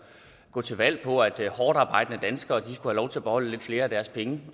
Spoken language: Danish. gå til valg på at hårdtarbejdende danskere skulle have lov til at beholde lidt flere af deres penge